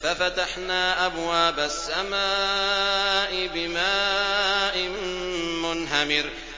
فَفَتَحْنَا أَبْوَابَ السَّمَاءِ بِمَاءٍ مُّنْهَمِرٍ